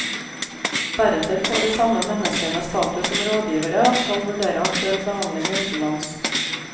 Deretter får de samme menneskene status som rådgivere og skal vurdere aktuell behandling utenlands.